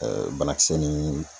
banakisɛ ni